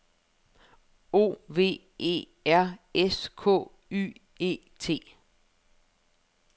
O V E R S K Y E T